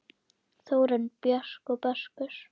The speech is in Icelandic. Þórunn Björk og Börkur.